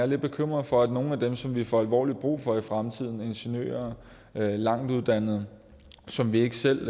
lidt bekymret for at nogle af dem som vi får alvorligt brug for i fremtiden ingeniører langtuddannede som vi ikke selv